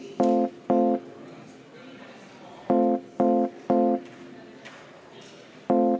Seda me teeme.